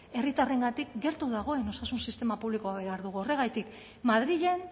herritarrengatik gertu dagoen osasun sistema publikoa behar dugu horregatik madrilen